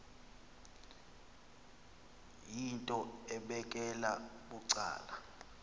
yinto ebekela bucala